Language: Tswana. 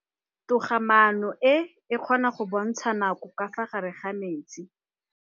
Toga-maanô e, e kgona go bontsha nakô ka fa gare ga metsi.